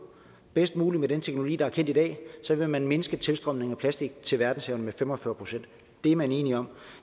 bedst mulige teknologi der er kendt i dag så vil man mindske tilstrømningen af plastik til verdenshavene med fem og fyrre procent det er man enige om